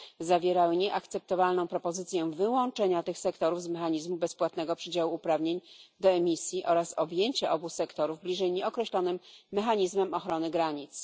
Zawierały nieakceptowalną propozycję wyłączenia tych sektorów z mechanizmu bezpłatnego przydziału uprawnień do emisji oraz objęcia obu sektorów bliżej nieokreślonym mechanizmem ochrony granic.